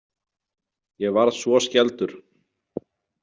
Ég varð svo skelfdur.